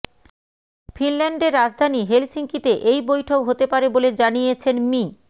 ফিনল্যান্ডের রাজধানী হেলসিঙ্কিতে এই বৈঠক হতে পারে বলে জানিয়েছেন মি